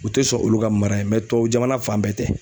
U tɛ sɔn olu ka mara yen tubabu jamana fan bɛɛ tɛ.